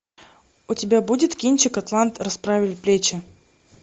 у тебя будет кинчик атлант расправил плечи